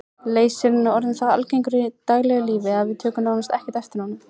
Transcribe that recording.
Leysirinn er orðinn það algengur í daglegu lífi að við tökum nánast ekki eftir honum.